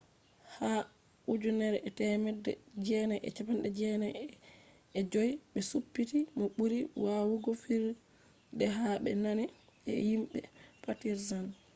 ha 1995 be supti mo buri wawugo fijirde ha be nane je himbe partizan